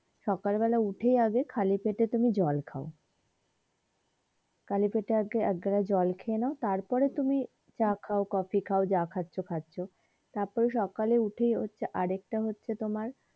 সকাল বেলায় উঠেই আগে খালি পেটে তুমি জল খাও খালি পেটে আগে এক গ্লাস জল খেয়ে নাও তারপর তুমি চা খাও কফি খাও যা খাচ্ছো খাচ্ছো তারপরে সকালে উঠে হচ্ছে আরেকটা হচ্ছে তোমার